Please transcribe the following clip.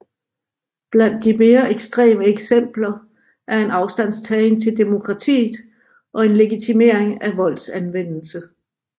Blandt de mere ekstreme eksempler er en afstandtagen til demokratiet og en legitimering af voldsanvendelse